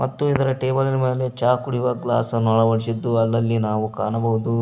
ಮತ್ತು ಇದರ ಟೇಬಲಿನ ಮೇಲೆ ಚಾ ಕುಡಿವಾ ಗ್ಲಾಸ್ ಅನ್ನು ಅಳವಡಿಸಿದ್ದನ್ನು ಅಲ್ಲಲ್ಲಿ ನಾವು ಎಲ್ಲಿಗೆಕಾಣಬಹುದು.